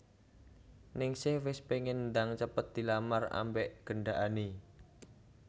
Ningsih wes pengen ndang cepet dilamar ambek gendakane